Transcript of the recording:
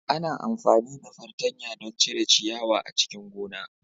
Ana amfani da fartanya don cire ciyawa a cikin gona.